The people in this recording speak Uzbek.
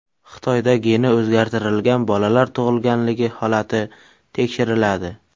Xitoyda geni o‘zgartirilgan bolalar tug‘ilganligi holati tekshiriladi.